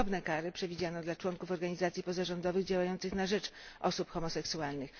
Podobne kary przewidziano dla członków organizacji pozarządowych działających na rzecz osób homoseksualnych.